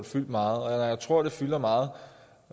fyldt meget jeg tror at når det fylder meget